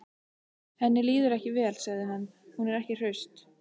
Henni líður ekki vel, sagði hann: Hún er ekki hraust.